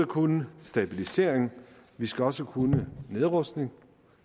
kunne stabilisering vi skal også kunne nedrustning